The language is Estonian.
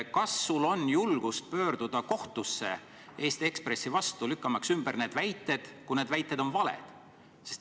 Kas sul on julgust pöörduda kohtusse Eesti Ekspressi vastu, lükkamaks need väited ümber, kui need väited on valed?